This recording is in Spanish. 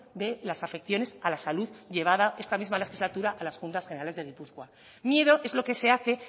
de las afecciones a la salud llevada esta misma legislatura a las juntas generales de gipuzkoa miedo es lo que se hace